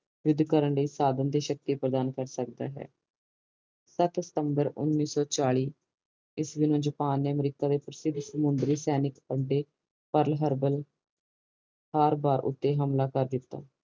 ਯੂੱਧ ਕਰਨ ਲਾਇ ਸਾਡੀਆਂ ਤੇ ਸ਼ਕਤੀਆਂ ਪ੍ਰਦਾਨ ਕਰ ਸਕਦਾ ਹੈ ਸਤ ਸਤੰਬਰ ਉਣੀ ਸੱਪ ਚਾਲੀ ਈਸਵੀ ਨੂੰ ਜਪਾਨ ਨੇ ਅਮਰੀਕਾ ਦੇ ਪ੍ਰਸਿੱਧ ਸਮੁੰਦਰੀ ਸੈਨਿਕ ਬਾਰ ਉਤੇ ਹਮਲਾ ਕਰ ਦਿਤਾ